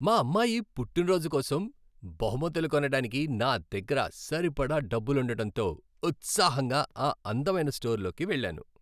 మా అమ్మాయి పుట్టినరోజు కోసం బహుమతులు కొనడానికి నా దగ్గర సరిపడా డబ్బులుండటంతో, ఉత్సాహంగా ఆ అందమైన స్టోర్లోకి వెళ్ళాను.